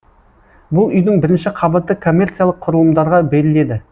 бұл үйдің бірінші қабаты коммерциялық құрылымдарға беріледі